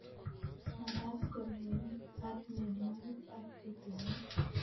Magat ko lowen ak mianwogik ak tutuinik